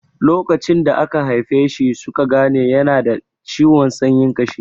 Lokacin da aka haife shi suka gane yana da ciwon sanyin ƙashi.